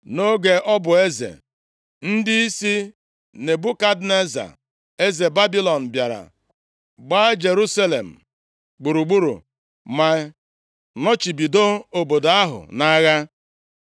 Nʼoge ọ bụ eze, ndịisi Nebukadneza, eze Babilọn bịara, gbaa Jerusalem gburugburu ma nọchibido obodo ahụ nʼagha.